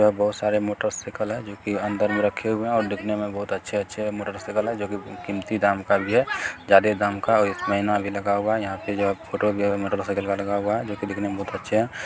यहाँ बहुत सारे मोटर साइकिल है जो की अंदर में रखे हुए है और दिखने में बहुत अच्छे-अच्छे है मोटर साइकिल है जो की कीमती दाम का भी है जादे दाम का है और इसमें एना भी लगा हुआ है यहाँ पे जो फोटो दिया गया मोटर साइकिल का लगा हुआ है जो की दिखने में बहुत अच्छे है।